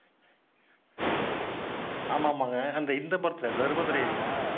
ஆமாமாங்க. அந்த இந்த படத்துல தர்ம துரைலயா?